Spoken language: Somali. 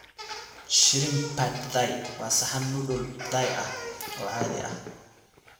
Shrimp pad Thai waa saxan noodle Thai ah oo caadi ah.